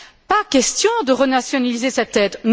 Pas question de renationaliser cette aide.